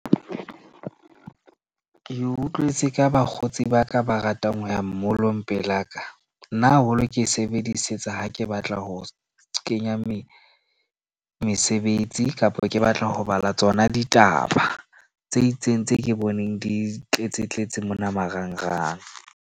Ke utlwetse ka bakgotsi ba ka ba ratang ho ya mall-ong pelaka. Nna haholo, ke e sebedisetsa ha ke batla ho kenya mesebetsi kapo ke batla ho bala tsona ditaba, tse itseng tse ke boneng di tletsetletse mona marangrang.